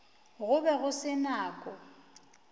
go be go se nako